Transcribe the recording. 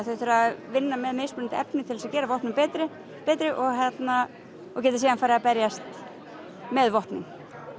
þau þurfa að vinna með mismunandi efni til að gera vopnin betri betri og geta síðan farið að berjast með vopnin